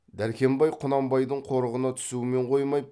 дәркембай құнанбайдың қорығына түсумен қоймай